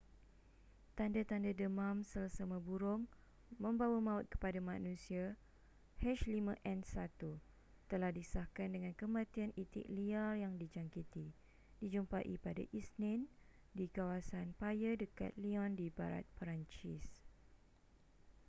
tanda-tanda deman selsema burung membawa maut kepada manusia h5n1 telah disahkan dengan kematian itik liar yang dijangkiti dijumpai pada isnin di kawasan paya dekat lyon di barat perancis